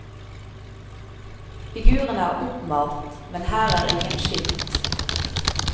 Figurene er oppmalt, men her er ingen skilt.